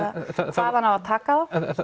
hvaðan á að taka